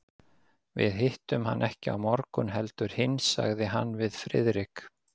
Við hittum hann ekki á morgun heldur hinn sagði hann við Friðrik.